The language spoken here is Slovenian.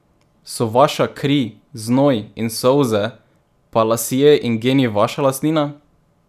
So vaša kri, znoj in solze pa lasje in geni vaša lastnina?